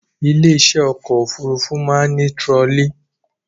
Ilé iṣẹ́ ọkọ̀ òfurufú máa ń ní tirọlí